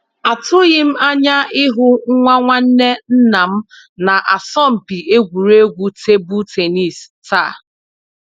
Atụghị m anya ịhụ nwa nwanne nnam na asọmpi egwuregwu tebụl tennis taa